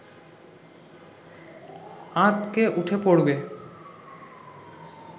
আঁতকে উঠে পড়বে